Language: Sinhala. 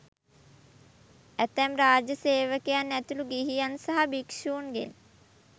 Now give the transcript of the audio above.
ඇතැම් රාජ්‍ය සේවකයන් ඇතුළු ගිහියන් සහ භික්ෂුන්ගෙන්